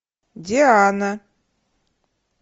диана